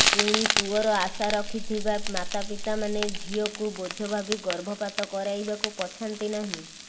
ପୁଣି ପୁଅର ଆଶା ରଖିଥିବା ମାତାପିତାମାନେ ଝିଅକୁ ବୋଝ ଭାବି ଗର୍ଭପାତ କରାଇବାକୁ ପଛାନ୍ତିନାହିଁ